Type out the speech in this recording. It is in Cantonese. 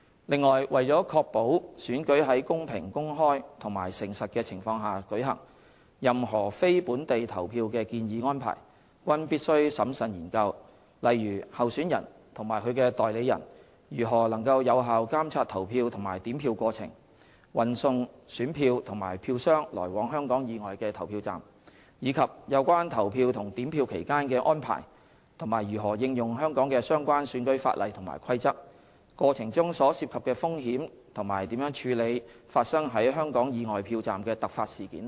另外，為確保選舉在公平、公開和誠實的情況下舉行，任何非本地投票的建議安排均必須審慎研究，例如候選人及其代理人如何能有效監察投票及點票過程、運送選票及票箱來往香港以外的投票站，以及有關投票及點票期間的安排及如何應用香港的相關選舉法例及規則、過程中所涉及的風險及如何處理發生於香港以外票站的突發事件等。